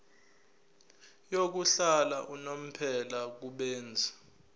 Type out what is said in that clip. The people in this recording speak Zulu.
yokuhlala unomphela kubenzi